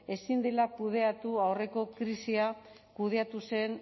ezin dela kudeatu aurreko krisia kudeatu zen